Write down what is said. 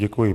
Děkuji.